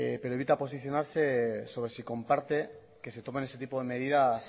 pero evita posicionarse sobre si comparte que se tomen ese tipo de medidas